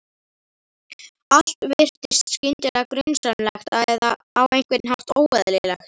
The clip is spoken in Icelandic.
Allt virtist skyndilega grunsamlegt eða á einhvern hátt óeðlilegt.